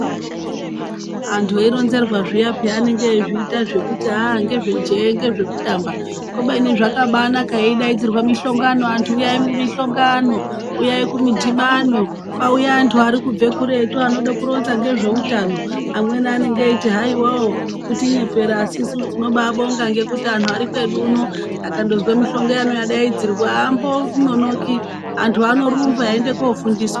Antu eironzerwa zviyaa peyani anenge eizviita zvekuti aah ngezvejee, ngezvekutamba. Kubeni zvakabaanaka yeidaidzirwa mihlongano antu huyai kumihlongano. Huyai kumidhibano, kwauya antu ari kubva kuretu ari kuda kuronza ngezveutano. Amweni anenge eiti haiwa wo, kutinyepera. Asi isusu tinobaabonga ngekuti antu ari kwedu uno akandozwa mihlongano yadaidzirwa aambononoki. Antu anorumba eienda koofundiswa.